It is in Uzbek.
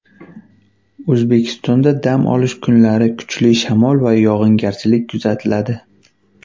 O‘zbekistonda dam olish kunlari kuchli shamol va yog‘ingarchilik kuzatiladi.